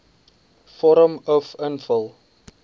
vorm uf invul